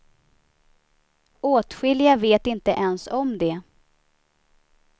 Åtskilliga vet inte ens om det.